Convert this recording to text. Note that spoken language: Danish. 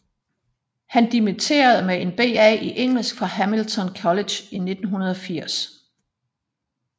Han dimitterede med en BA i engelsk fra Hamilton College i 1980